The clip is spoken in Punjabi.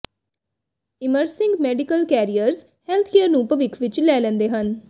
ਇਮਰਮਿੰਗ ਮੈਡੀਕਲ ਕੈਰੀਅਰਜ਼ ਹੈਲਥਕੇਅਰ ਨੂੰ ਭਵਿੱਖ ਵਿੱਚ ਲੈ ਲੈਂਦੇ ਹਨ